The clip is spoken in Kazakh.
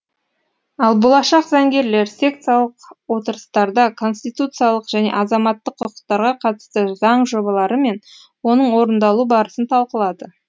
ал болашақ заңгерлер секциялық отырыстарда конституциялық және азаматтық құқықтарға қатысты заң жобалары мен оның орындалу барысын талқылады